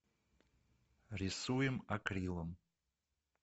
рисуем акрилом